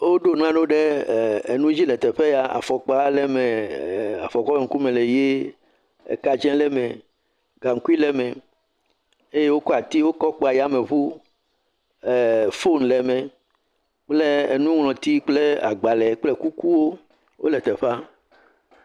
Woɖo nu aɖewo ɖe eer er nu dzi le teƒe ya, afɔkpa le eme ee afɔkpa ƒe ŋkume le ʋie, ka tsɛ le me, gaŋkui le eme eye wokɔ atiwo kɔ kpa yameŋu eer foni le me kple nuŋlɔti kple agbalẽ kple kukuwo wole teƒea.